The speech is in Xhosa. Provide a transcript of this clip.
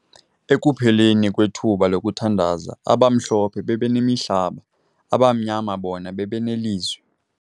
Ekupheleni kwethuba lokuthandaza abaMhlophe bebenemihlaba abaMnyama bona bebeneLizwi.